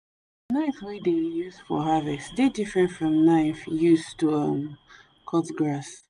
the knife wey dey use for harvest dey different from knife use to um cut grass